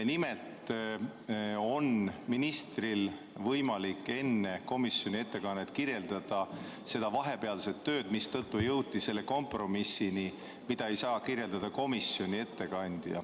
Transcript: Nimelt on ministril võimalik enne komisjoni ettekannet kirjeldada seda vahepealset tööd, mida ei saa kirjeldada komisjoni ettekandja – seetõttu jõutigi kompromissini.